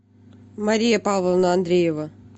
мария павловна андреева